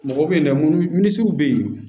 Mɔgɔw bɛ yen dɛ minnuisiw bɛ yen